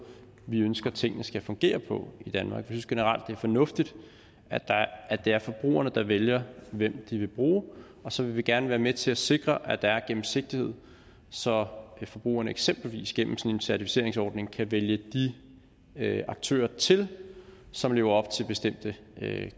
vi ønsker tingene skal fungere på i danmark vi synes generelt det er fornuftigt at det er forbrugerne der vælger hvem de vil bruge og så vil vi gerne være med til at sikre at der er gennemsigtighed så forbrugerne eksempelvis gennem en certificeringsordning kan vælge de aktører til som lever op til bestemte